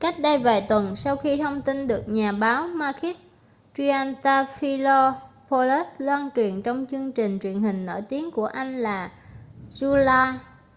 cách đây vài tuần sau khi thông tin được nhà báo makis triantafylopoulos loan truyền trong chương trình truyền hình nổi tiếng của anh là zoungla